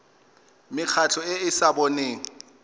mekgatlho e e sa boneng